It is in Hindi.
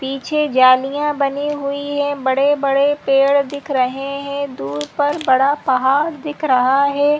पीछे जालियां बनी हुई है बड़े -बड़े पेड़ दिख रहे है दूर पर बड़ा पहाड़ दिख रहा हहै।